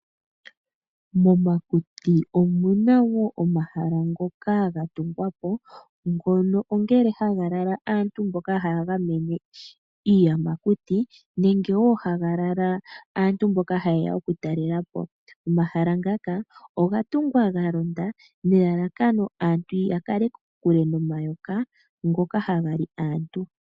Momakuti omu na wo omahala ngoka ga tungwa po haga lala aantu mbono haya gamene iiyamakuti nenge haga lala aantu mboka haye ya okutalela po. Omahala ngaka oga tungwa ga londa nelalakano aantu ya kale kokule nomayoka ngoka haga li aantu.